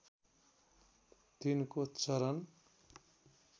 तिनको चरन